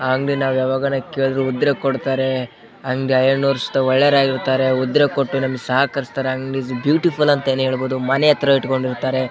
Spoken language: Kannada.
ಆ ಅಂಗಡಿ ನಾವ್ ಯಾವಾಗ್ಲೂ ಕೇಳಿದ್ರೆ ಉದ್ರೆ ಕೊಡ್ತಾರೆ ಹಂಗೆ ಒಳ್ಳೆಯವ್ರು ಆಗಿರ್ತಾರೇ ಉದ್ರೆ ಕೊಟ್ಟು ನಮ ಸಹಕರಿಸ್ತಾರೆ ಅಂಗಡಿ ಬ್ಯೂಟಿಫುಲ್ ಅಂತಾನೆ ಹೇಳಬಹುದು . ಮನೆ ಹತ್ರ ಇಟ್ಕೊಂಡಿರ್ತಾರೆ .